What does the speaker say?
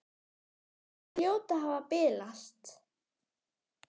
Þær hljóta að hafa bilast!